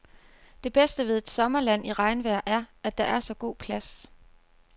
Det bedste ved et sommerland i regnvejr er, at der er så god plads.